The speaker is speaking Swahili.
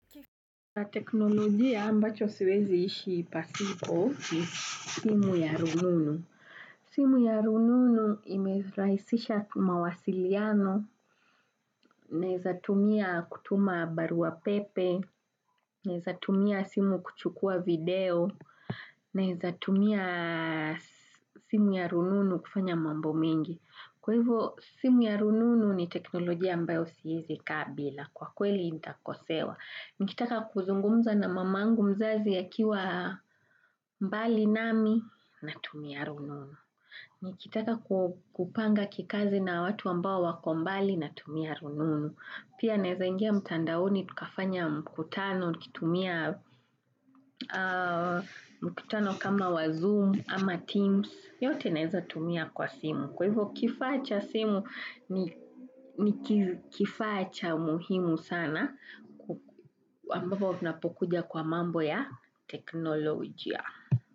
Kwa teknolojia ambacho siwezi ishi pasipo ni simu ya rununu. Simu ya rununu imerahisisha mawasiliano, naweza tumia kutuma barua pepe, naweza tumia simu kuchukua video, naweza tumia simu ya rununu kufanya mambo mingi. Kwa hivyo, simu ya rununu ni teknolojia ambayo siwezi kaa bila, kwa kweli nitakosewa. Nikitaka kuzungumza na mamangu mzazi akiwa mbali nami, natumia rununu. Nikitaka kupanga kikazi na watu ambao wako mbali natumia rununu. Pia naweza ingia mtandaoni, tukafanya mkutano, nikitumia mkutano kama wa Zoom ama Teams, yote naweza tumia kwa simu. Kwa hivyo kifaa cha simu ni kifaa cha muhimu sana ambapo tunapokuja kwa mambo ya teknolojia.